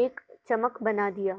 ایک چمک بنا دیا